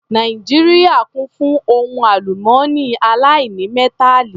Nàìjíríà kún fún ohun àlùmọ́nì aláìnímẹ́tàlì